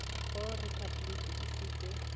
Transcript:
go repabliki e se ke